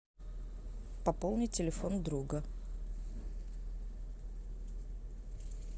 пополнить телефон друга